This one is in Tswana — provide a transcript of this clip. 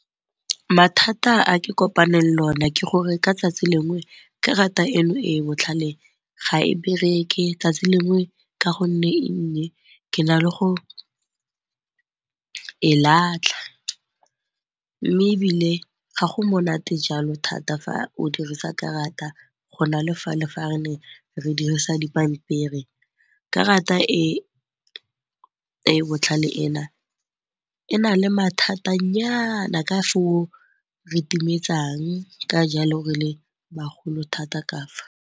Mathata a di kopaneng le o ne ke gore ka 'tsatsi lengwe karata e no e e botlhale ga e bereke 'tsatsi lengwe ka gonne ke na le go e latlha. Mme ebile ga go monate jalo thata fa o dirisa karata go na le fale fa re ne re dirisa dipampiri. Karata e e botlhale e na le mathata nyana ka foo re timetsang ka jalo re le bagolo thata ka fa.